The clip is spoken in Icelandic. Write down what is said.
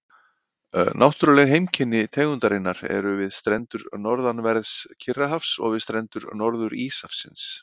Náttúrleg heimkynni tegundarinnar eru við strendur norðanverðs Kyrrahafs og við strendur Norður-Íshafsins.